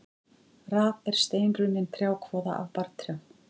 Raf er steinrunnin trjákvoða af barrtrjám.